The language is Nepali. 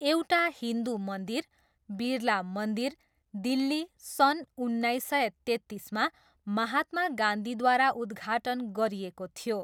एउटा हिन्दु मन्दिर, बिरला मन्दिर, दिल्ली, सन् उन्नाइस सय तेत्तिसमा महात्मा गान्धीद्वारा उद्घाटन गरिएको थियो।